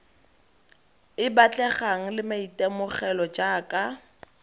e batlegang le maitemogelo jaaka